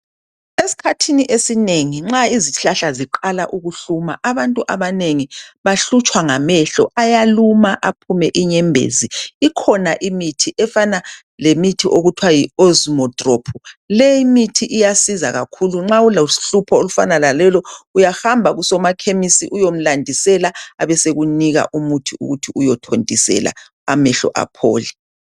Esikhathini esinengi nxa izihlahla ziqala ukuhluma abantu abanengi bahlutshwa ngamehlo. Ayaluma aphume inyembezi. Ikhona imithi efana lemithi okuthwa yiOsmodrop. Leyimithi iyasiza kakhulu. Nxa ulohlupho olufana lalolu uyahamba kusomaKhemisi uyomlandisela abesekunika umuthi ukuthi uyothontisela amehlo aphole.